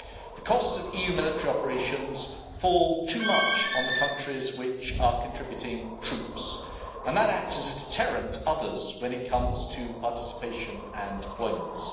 The cost of EU military operations fall too much on the countries which are contributing troops, and that acts as a deterrent to others when it comes to participation and deployments.